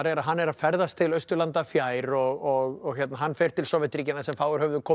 að hann er að ferðast til Austurlanda fjær og hann fer til Sovétríkjanna sem fáir höfðu komið